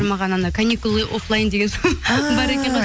маған анау каникулы оффлайн деген сол бар екен ғой